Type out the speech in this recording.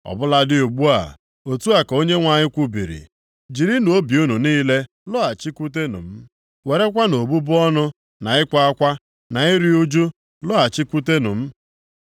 “Ọ bụladị ugbu a,” otu a ka Onyenwe anyị kwubiri ya, “Jirinụ obi unu niile lọghachikwute m. Werekwanụ obubu ọnụ, na ịkwa akwa, na iru ụjụ, lọghachikwutenụ m.”